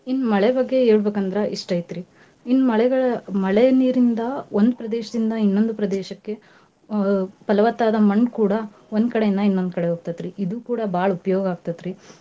ಇನ್ ಮಳೆ ಬಗ್ಗೆ ಹೇಳ್ಬೇಕಂದ್ರ ಇಷ್ಟೈತ್ರಿ. ಇನ್ ಮಳೆಗ~ ಮಳೆ ನೀರಿಂದ ಒಂದ್ ಪ್ರದೇಶದಿಂದ ಇನ್ನೊಂದ್ ಪ್ರದೇಶಕ್ಕೆ ಅ ಪಲವತ್ತಾದ ಮಣ್ ಕೂಡಾ ಒಂದ್ಕಡೇಯಿಂದ ಇನ್ನೊಂದ್ ಕಡೆ ಹೋಗ್ತತ್ರಿ ಇದೂ ಕೂಡ ಬಾಳ್ ಉಪ್ಯೋಗ ಆಗ್ತೇತ್ರಿ.